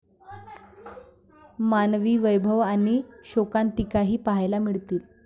मानवी वैभव आणि शोकांतिकाही पाहायला मिळतील.